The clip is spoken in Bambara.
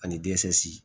Ani